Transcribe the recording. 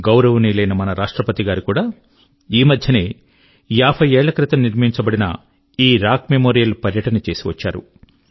గౌరవనీయులైన మన రాష్ట్రపతి గారు కూడా ఈ మధ్యనే యాభై ఏళ్ళ క్రితం నిర్మింపబడిన ఈ రాక్ మెమోరియల్ పర్యటన చేసి వచ్చారు